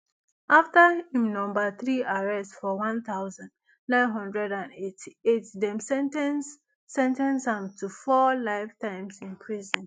afta im number three arrest for one thousand, nine hundred and eighty-eight dem sen ten ce sen ten ce am to four life terms in prison